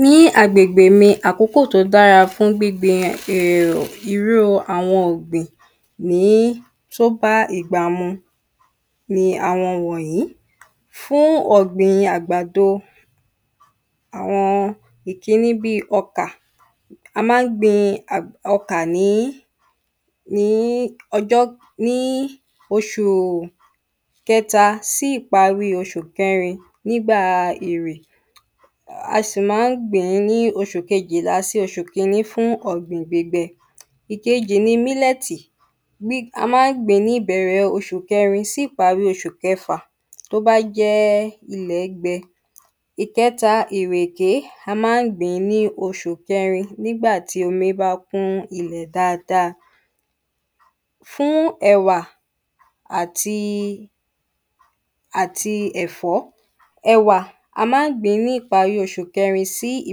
Ní agbègbè mi àkókò tó dára fún gbíngbin um um irú àwọn ọ̀gbìn ní fún pá ìgbamọ́ ni àwọn wọ̀nyìí fún ọ̀gbìn àgbàdo àwọn ìkíní bí ọkà. A má ń gbin ọkà ní ní ọjọ́ ní oṣù kẹta sí ìparí oṣù kẹrin nígbà ìrì À sì má ń gbìn ní oṣù kejìlá sí oṣù kíní fún ọ̀gbìn gbígbẹ. Ìkejì ni mílẹ̀tì ní a má ń gbìn ní ìbẹ̀rẹ̀ osù kẹrin sí ìparí osù kẹfà tó bá jẹ́ ilẹ̀ gbẹ. Ìkẹta ìrèké a má ń gbìn ní osù kẹrin nígbà tí omi bá kún ilẹ̀ dáada. Fún ẹ̀wà àti àti ẹ̀fọ́. Ẹ̀wà á má ń gbìn ní ìparí oṣù kẹrin sí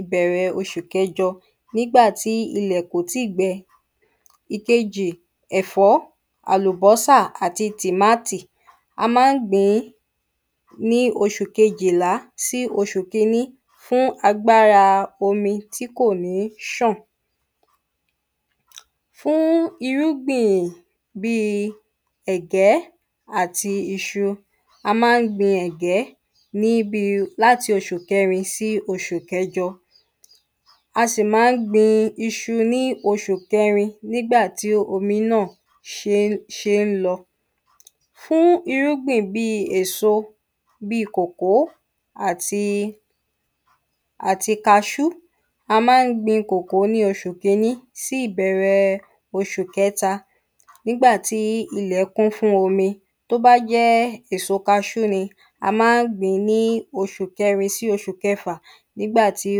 ìparí ìbẹ̀rẹ oṣù kẹjọ nígbàtí ilẹ̀ kò tí gbe. Ìkejì ẹ̀fọ́ àlùbọ́sà àti tìmátì a má ń gbìn ní oṣù kejìlá sí osù kíní fún agbára omi tí kò ní ṣàn. Fún irúgbìn bí ẹ̀gẹ́ àti iṣu. A má ń gbin ẹ̀gẹ́ ní bi láti oṣù kẹrin sí oṣù kẹjọ. À sì má ń gbin iṣu ní oṣù kẹrin nígbà tí omi náà fí fí ń lọ. Fún irúgbìn bí èso bí kòkó àti àti kaṣú. A má ń gbin kòkó ní osù kíní sí ìbẹ̀rẹ̀ osù kẹta nígbàtí ilẹ̀ kún fún omi tó bá jẹ́ èso kaṣú ni a má ń gbìn ní osù kẹrin sí osù kẹfà nígbàtí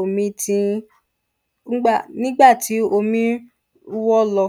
omi tí ń nígbà nígbàtí omi ń wọ́ lọ.